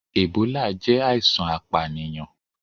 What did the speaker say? Ebola jẹ aisan apaniyan.